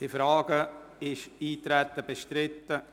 Ist das Eintreten bestritten?